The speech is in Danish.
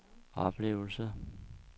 oplevelse